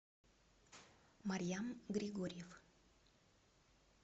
марьям григорьев